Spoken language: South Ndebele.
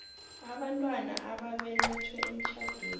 abantwana ababelethwe emtjhadweni